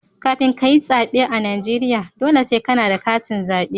Kafin kayi tsaɓe a Najeriya, dole sai kana da katin zaɓe.